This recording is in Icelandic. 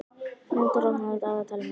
Knútur, opnaðu dagatalið mitt.